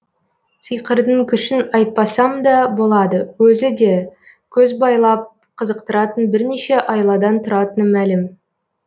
сиқырдың күшін айтпасамда болады өзіде көз байлап қызықтыратын бірнеше айладан тұратыны мәлім